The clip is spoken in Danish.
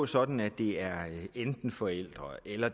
sådan at det er enten forældrene eller